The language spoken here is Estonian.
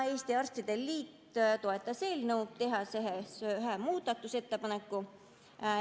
Eesti Arstide Liit toetas eelnõu, tehes ühe muudatusettepaneku.